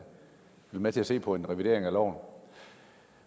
med til at se på en revidering af loven